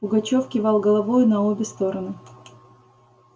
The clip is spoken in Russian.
пугачёв кивал головою на обе стороны